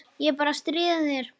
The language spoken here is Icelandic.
Ég er bara að stríða þér.